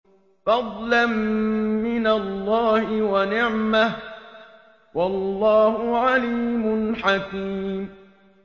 فَضْلًا مِّنَ اللَّهِ وَنِعْمَةً ۚ وَاللَّهُ عَلِيمٌ حَكِيمٌ